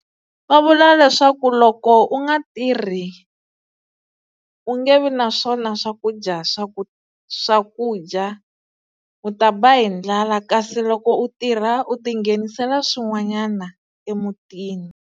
Va vula leswaku loko u nga tirhi u nge vi na swona swakudya swa ku swakudya u ta ba hi ndlala kasi loko u tirha u ti nghenisela swin'wanyana emutini.